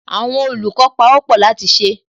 Àwọn olùkọ́ pawọ́pọ̀ láti ṣe